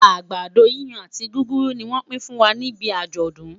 àgbàdo yíyan àti gúgúrú ní wón pi n fún wà níbí ajodun